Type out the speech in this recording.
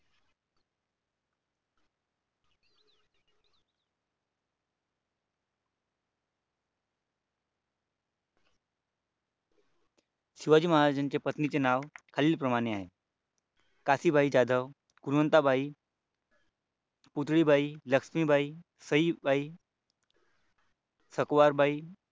शिवाजी महाराजांच्या पत्नीचे नाव खालील प्रमाणे आहे. काशीबाई जाधव गुणवंताबाई लक्ष्मीबाई सईबाई सकवार बाई